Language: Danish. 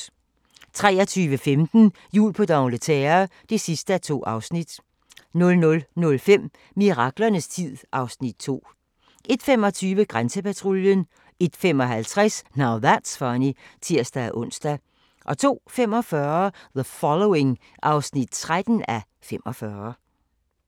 23:15: Jul på d'Angleterre (2:2) 00:05: Miraklernes tid (Afs. 2) 01:25: Grænsepatruljen 01:55: Now That's Funny (tir-ons) 02:45: The Following (13:45)